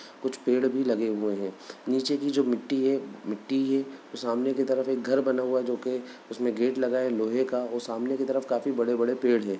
कुछ पेड़ भी लगे हुए हैं नीचे की जो मिट्टी है मिट्टी के सामने की तरफ एक घर बना हुआ है जो कि उसमे गेट लगा है लोहे का और सामने की तरफ काफ़ी बड़े-बड़े पेड़ हैं।